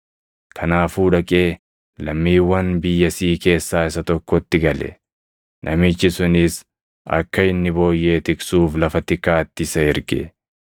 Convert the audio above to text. Kanaafuu dhaqee lammiiwwan biyyasii keessaa isa tokkotti gale; namichi sunis akka inni booyyee tiksuuf lafa tikaatti isa erge.